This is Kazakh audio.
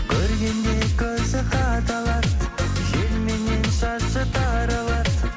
көргенде көзі кадалады желменен шашы таралады